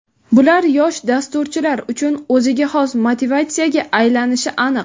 Bular yosh dasturchilar uchun o‘ziga xos motivatsiyaga aylanishi aniq.